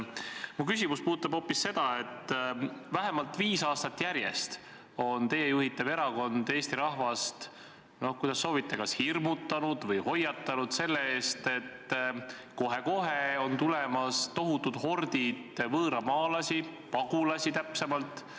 Mu küsimus puudutab hoopis seda, et vähemalt viis aastat järjest on teie juhitav erakond Eesti rahvast, kuidas soovite, kas hirmutanud või hoiatanud selle eest, et kohe-kohe on tulemas tohutud hordid võõramaalasi, pagulasi täpsemalt.